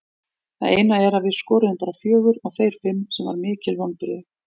Það eina er að við skoruðum bara fjögur og þeir fimm sem var mikil vonbrigði.